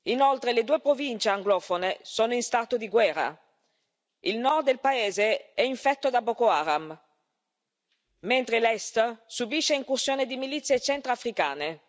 Inoltre, le due province anglofone sono in stato di guerra il Nord del paese è infetto da Boko Haram, mentre l'Est subisce incursioni di milizie centroafricane.